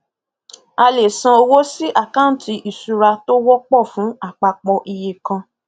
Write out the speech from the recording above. a lè san owó sí àkántì ìṣura tó wọpọ fún àpapọ iye kàn